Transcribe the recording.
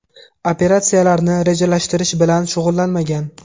Operatsiyalarni rejalashtirish bilan shug‘ullanmagan.